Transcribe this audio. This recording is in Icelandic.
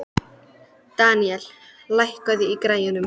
Daníel, lækkaðu í græjunum.